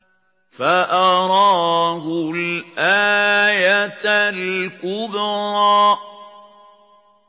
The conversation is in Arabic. فَأَرَاهُ الْآيَةَ الْكُبْرَىٰ